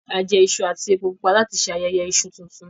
A jẹ iṣu ati epo pupa lati ṣe ayẹyẹ iṣu tuntun